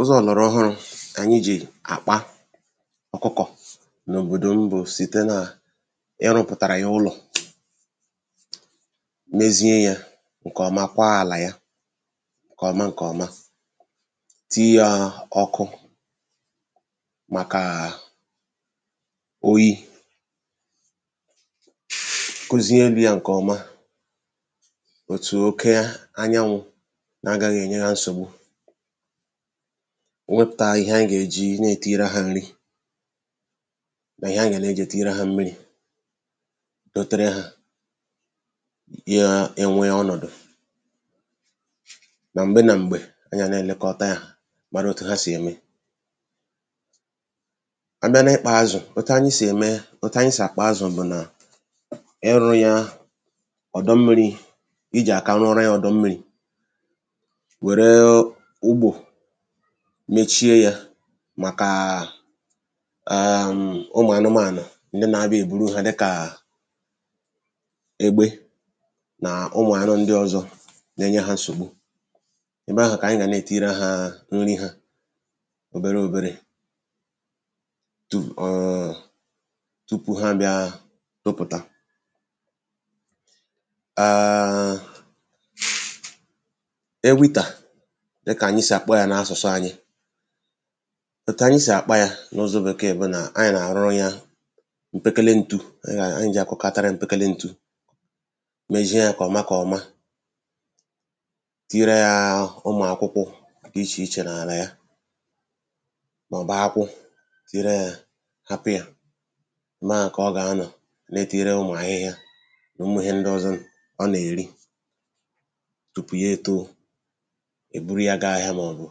ụzọ̄ ọ̀gbàràọhụrụ̄ ànyị jì àkpa ọ̀kụkọ̀ n’òbòdò m bụ̀ site nà ị rụ̄pụ̀tarà ya ụlọ̀ mezie yā ṅkè ọma kwaa àlà ya ṅ̀kè ọma ṅ̀kè ọma tii yā ọkụ màkàà oyī kuzie elū yā ṅ̀kè ọma òtù oke anyanwụ̄ na-agāghị̄ ènye hā nsògbu wepụ̀ta ihe ayị gà-èji na- ètiiri hā nri mà ihe a gà- na-èji tìnyere hā mmirī dotara hā ya enwee ọnọ̀dụ nà m̀gbe nà m̀gbɛ̀ anyị̀ ana-èlekọta yā mara otu ha sì ème a bịa n’ịkpā azụ̀ otu anyị sì àkpa azụ̀ bụ̀ nà ịrụ̄ yā ọ̀dọ mmirī ijì àka rụọrọ yā ọ̀dọ mmirī wère ugbò mechie yā màkàà èèm̀ ụmụ̀ anụmāànụ̀ ndị na-àbịa èburu hā dịkà egbe nà ụmụ̀ anụ ndị ọ̀zọ́ na-enye hā nsògbu ebe ahụ̀ kà àyị gà- na- ètiiri hā nri hā oberē oberē tuù ọnwọọ̄ tupu ha ābịā topụ̀ta àààṅ̀ sound ewità dịkà ànyị sì àkpọ yā n’asụ̀sụ anyị òtù ànyị̀ sì àkpa yā n’ụzọ̄ bèkéè bù nà anyị̀ nà àrụrụ yā m̀pèkèlè ntu ànyị nà ànyị jì àkụpàtara yā m̀pèkèlè ntu meʒia jā kè ọma kè ọma tiirā yā ụmụ̀ akwụkwọ dị ichè ichè n’àlà ya màòbù akwụ tiira hā hapụ̄ yā òno ahụ kà ọ gà-anọ̀ né etiira yā ụmụ̀ ahịhịa nà ụmụ̀ ihe ndị ọ̄zọ̄ ọ nà-èri tupu ya ētōō è buru yā gaa ahịā n’Ọ̀gwụ̀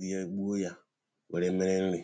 rie gbuo yā wère mere nrī